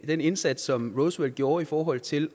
den indsats som roosevelt gjorde i forhold til